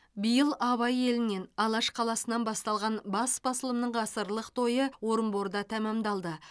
биыл абай елінен алаш қаласынан басталған бас басылымның ғасырлық тойы орынборда тәмамдалды